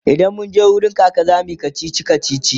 idan munje wurin kaka zamuyi kachichi kachichi